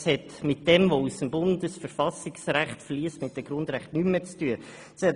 Dies hat nichts mehr mit dem zu tun, was aus dem Bundesverfassungsrecht beziehungsweise den Grundrechten fliesst.